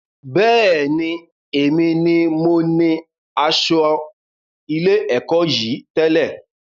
Bẹ́ẹ̀ni, èmi ní mo ní asọ ilé-èkó yìí tẹ̀lẹ́